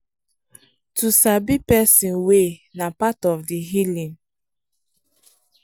to sabi person way na part of the healing